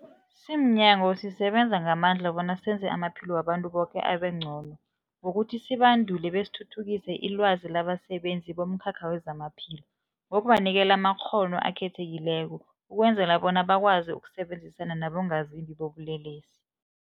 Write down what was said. Simnyango, sisebenza ngamandla bona senze amaphilo wabantu boke abengcono ngokuthi sibandule besithuthukise ilwazi labasebenzi bomkhakha wezamaphilo ngokubanikela amakghono akhethekileko ukwenzela bona bakwazi ukusebenzisana nabongazimbi bobulelesi.